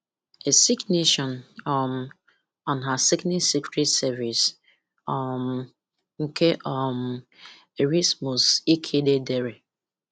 A Sick Nation um And Her Sickening Secret Service um nke um Erasmus Ikhide dere.